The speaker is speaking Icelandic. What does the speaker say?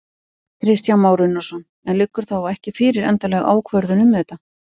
Kristján Már Unnarsson: En liggur þá ekki fyrir endanleg ákvörðun um þetta?